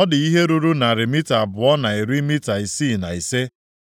Ọ dị ihe ruru narị mita abụọ na iri mita isii na ise.